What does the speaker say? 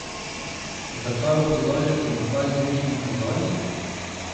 Zakaj opozarjati na ta izmišljen kazalnik?